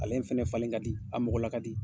Ale fɛnɛ falen ka di , a magɔ la ka di.